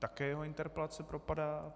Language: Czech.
Také jeho interpelace propadá.